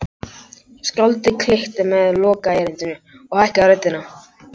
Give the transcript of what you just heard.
Skáldið klykkti út með lokaerindinu og hækkaði röddina